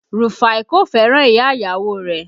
Rufai kò fẹ́ràn ìyá ìyàwó rẹ̀